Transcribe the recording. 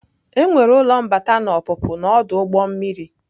Enwere ụlọ mbata na ọpụpụ na ọdụ ụgbọ mmiri.